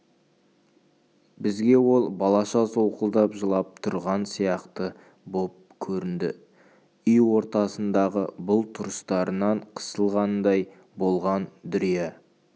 бізге ол балаша солқылдап жылап тұрған сияқты боп көрінді үй ортасындағы бұл тұрыстарынан қысылғандай болған дүрия